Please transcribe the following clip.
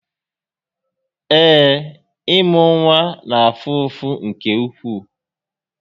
Ee, ị́mụ́ nwa na-afụ ụfụ nke ukwuu